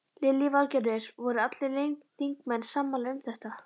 Lillý Valgerður: Voru allir þingmenn sammála um þetta?